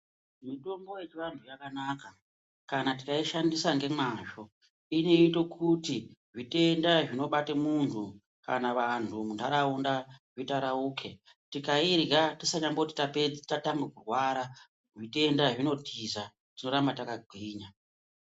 Mitombo yechianthu yakanaka kana tikaishandisa ngemazvo inoite kuti zvitenda zvinobate munthu kana vanthu muntharaunda itarauke tikairya tisinamboti tapedza tatanga kurwara zvitenda zvinotiza torambe takagwinya.